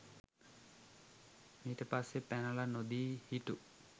මීට පස්සේ පැනල නොදී හිටු